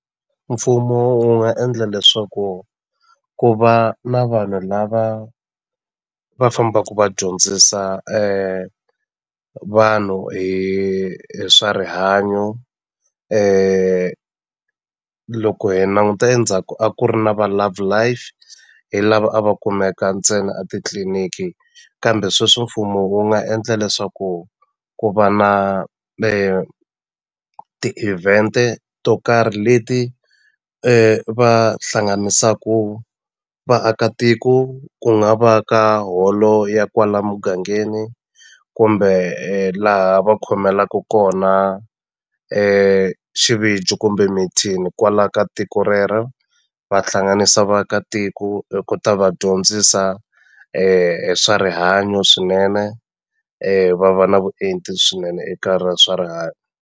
Mfumo wu nga endla leswaku ku va na vanhu lava va fambaku va dyondzisa vanhu hi hi swa rihanyo loko hi languta endzhaku a ku ri na va Love Life hi lava a va kumeka ntsena a titliniki kambe sweswi mfumo wu nga endla leswaku ku va na ti-event to karhi leti va hlanganisaku vaakatiko ku nga va ka holo ya kwala mugangeni kumbe laha va khomelaku kona xivijo kumbe mithini kwala ka tiko rero va hlanganisa vaakatiko hi ku ta va dyondzisa swa rihanyo swinene va va na vuenti swinene eka swa rihanyo.